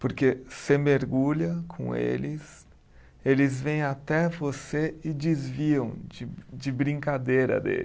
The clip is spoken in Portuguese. Porque você mergulha com eles, eles vêm até você e desviam de de brincadeira deles.